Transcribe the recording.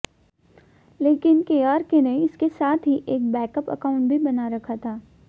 लेकिन केआरके ने इसके साथ ही एक बैकअप अकाउंट भी बना रखा था